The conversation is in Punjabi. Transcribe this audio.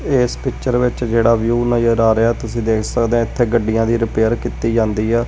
ਇਸ ਪਿਕਚਰ ਵਿੱਚ ਜਿਹੜਾ ਵਿਊ ਨਜ਼ਰ ਆ ਰਿਹਾ ਤੁਸੀਂ ਦੇਖ ਸਕਦੇ ਇਥੇ ਗੱਡੀਆਂ ਦੀ ਰਿਪੇਅਰ ਕੀਤੀ ਜਾਂਦੀ ਆ।